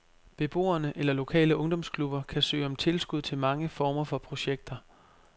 Beboere eller lokale ungdomsklubber kan søge om tilskud til mange former for projekter.